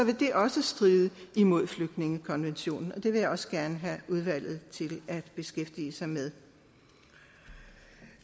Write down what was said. det vil også stride imod flygtningekonventionen det vil jeg også gerne have udvalget til at beskæftige sig med